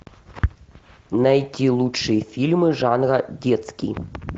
найти лучшие фильмы жанра детский